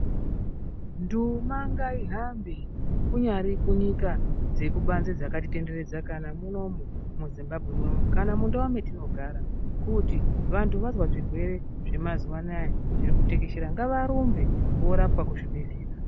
Nduuma ngaihambe, kunyari kunyika dzekubanze dzakatitenderedza kana munomu muZimbabwe munomu, kana mundau metinogara ,kuti vanthu vazwa zvirwere zvemazuwa anaya zviri kutekeshera ngavarumbe voorapwa kuzvibhehlera.